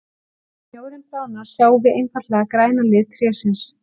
Þegar snjórinn bráðnar sjáum við einfaldlega græna lit trésins.